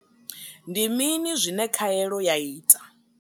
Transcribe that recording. Ndi mini zwine khaelo ya ita?